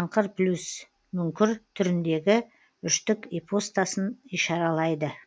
аңқырплюс плюсмүңкір түріндегі үштік ипостасын ишаралайды